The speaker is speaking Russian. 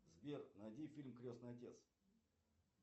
сбер найди фильм крестный отец